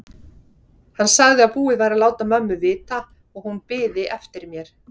Hann sagði að búið væri að láta mömmu vita og hún biði eftir mér.